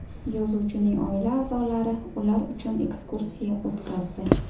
Yozuvchining oila a’zolari ular uchun ekskursiya o‘tkazdi.